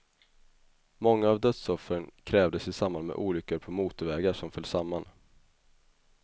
Många av dödsoffren krävdes i samband med olyckor på motorvägar som föll samman.